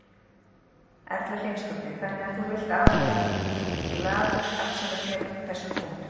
Erla Hlynsdóttir: Þannig að þú vilt allavega glaður afsala þér þessum punktum?